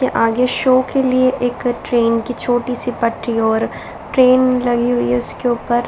यह आगे शो के लिए एक ट्रेन की एक छोटी-सी पटरी और ट्रेन लगी हुई है उसके ऊपर।